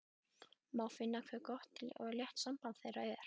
Má finna hve gott og létt samband þeirra er.